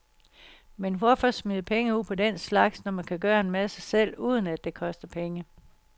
Men hvorfor smide penge ud på den slags, når man kan gøre en masse selv, uden det koster penge.